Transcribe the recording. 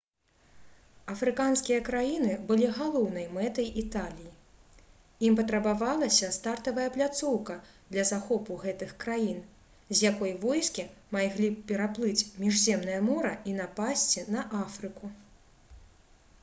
афрыканскія краіны былі галоўнай мэтай італіі ім патрабавалася стартавая пляцоўка для захопу гэтых краін з якой войскі маглі б пераплыць міжземнае мора і напасці на афрыку